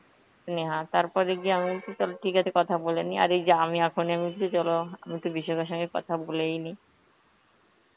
স্নেহা তারপরে গিয়ে আমি ঠিক আছে কথা বলেনি আর এই যে আমি এখনই উম বলছি চলো আমি একটু বিশাখার সঙ্গে কথা বলেইনি.